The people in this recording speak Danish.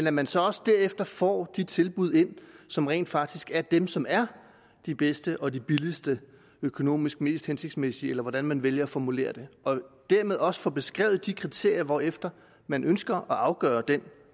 at man så også derefter får de tilbud ind som rent faktisk er dem som er de bedste og de billigste økonomisk mest hensigtsmæssige eller hvordan man vælger at formulere det og dermed også får beskrevet de kriterier hvorefter man ønsker at afgøre den